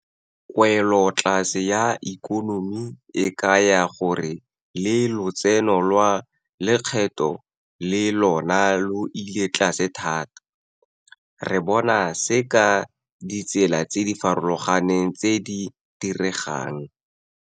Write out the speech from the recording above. Kwelotlase ya ikonomi e kaya gore le lotseno lwa lekgetho le lona lo ile tlase thata. Re bona se ka ditsela tse di farologaneng tse di diregang.